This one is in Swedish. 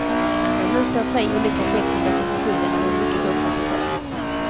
Men nu står tre olika tekniker till förfogande med mycket gott resultat.